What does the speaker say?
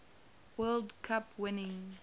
world cup winning